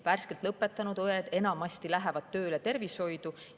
Värskelt lõpetanud õed lähevad enamasti tööle tervishoidu.